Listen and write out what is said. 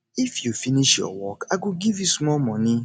if you finish your work i go give you small moni